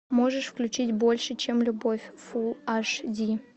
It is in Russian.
можешь включить больше чем любовь фулл аш ди